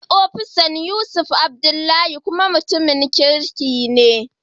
Sunan akawun ofisana Yusuf Adlbdullahi, kuma mutumin kirki ne.